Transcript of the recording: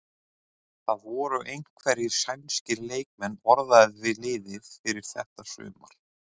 Það voru einhverjir sænskir leikmenn orðaðir við liðið fyrir þetta sumar?